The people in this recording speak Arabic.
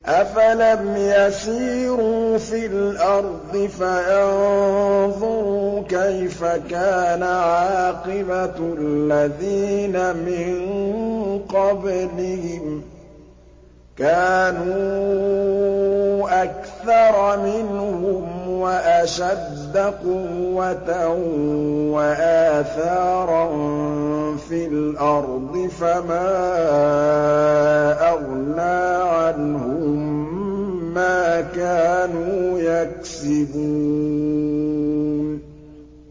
أَفَلَمْ يَسِيرُوا فِي الْأَرْضِ فَيَنظُرُوا كَيْفَ كَانَ عَاقِبَةُ الَّذِينَ مِن قَبْلِهِمْ ۚ كَانُوا أَكْثَرَ مِنْهُمْ وَأَشَدَّ قُوَّةً وَآثَارًا فِي الْأَرْضِ فَمَا أَغْنَىٰ عَنْهُم مَّا كَانُوا يَكْسِبُونَ